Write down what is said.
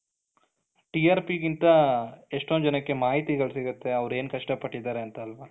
TRP ಗಿಂತ ಎಷ್ಟೊಂದ್ ಜನಕ್ಕೆ ಮಾಹಿತಿ ಗಳು ಸಿಗುತ್ತೆ ಅವರು ಏನು ಕಷ್ಟ ಪಟ್ಟಿದ್ದಾರೆ ಅಂತ ಅಲ್ವ,